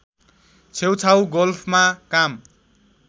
छेउछाउ गोल्फमा काम